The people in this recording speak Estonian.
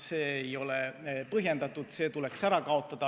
See ei ole põhjendatud, see tuleks ära kaotada.